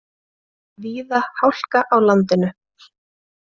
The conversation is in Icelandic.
Víða hálka á landinu